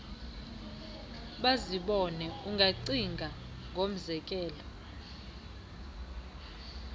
bazibone ungacinga ngomzekelo